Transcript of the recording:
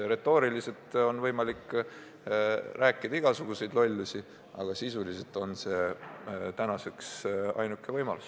Retooriliselt on võimalik igasuguseid lollusi rääkida, aga sisuliselt on see tänaseks ainuke võimalus.